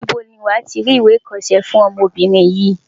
Níbo ni wàá ti rí ìwé ìkọṣẹ́ fún ọmọbìnrin yìí?